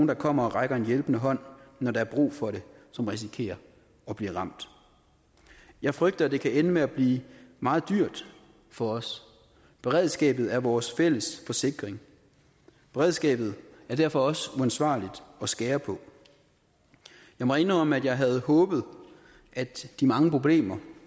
der kommer og rækker en hjælpende hånd når der er brug for det som risikerer at blive ramt jeg frygter at det kan ende med at blive meget dyrt for os beredskabet er vores fælles forsikring beredskabet er derfor også uansvarligt at skære på jeg må indrømme at jeg havde håbet at de mange problemer